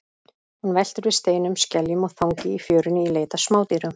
Hún veltir við steinum, skeljum og þangi í fjörunni í leit að smádýrum.